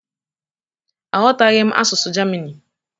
Aghọtaghị m asụsụ Germini.